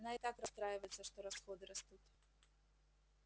она и так расстраивается что расходы растут